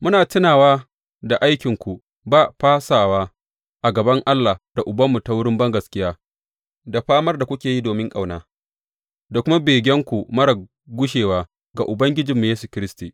Muna tunawa da aikinku ba fasawa a gaban Allah da Ubanmu ta wurin bangaskiya, da famar da kuke yi domin ƙauna, da kuma begenku marar gushewa ga Ubangijinmu Yesu Kiristi.